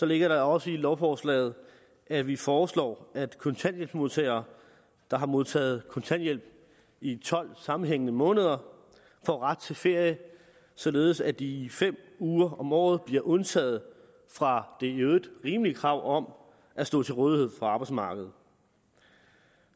ligger der også i lovforslaget at vi foreslår at kontanthjælpsmodtagere der har modtaget kontanthjælp i tolv sammenhængende måneder får ret til ferie således at de fem uger om året bliver undtaget fra det i øvrigt rimelige krav om at stå til rådighed for arbejdsmarkedet